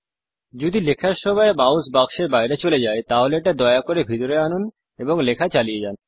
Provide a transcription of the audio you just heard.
যদি লেখার সময় মাউস বাক্সের বাইরে চলে যায় তাহলে এটা দয়া করে ভিতরে আনুন এবং লেখা চালিয়ে যান